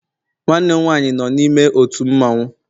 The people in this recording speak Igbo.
Nwannem nwaanyị no n'ime ótù mmawụ